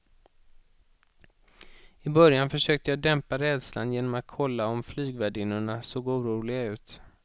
I början försökte jag dämpa rädslan genom att kolla om flygvärdinnorna såg oroliga ut.